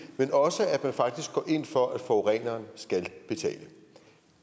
men også at man faktisk går ind for at forureneren skal betale